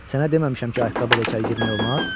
Sənə deməmişəm ki, ayaqqabı ilə içəri girmək olmaz?